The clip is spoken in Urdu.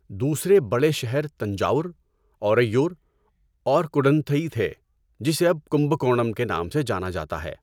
دوسرے بڑے شہر تنجاور، اورئیور اور کڈنتھئی تھے جسے اب کمبکونم کے نام سے جانا جاتا ہے۔